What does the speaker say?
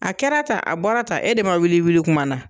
A kɛra tan, a bɔra tan, e de ma wili i wili kuma na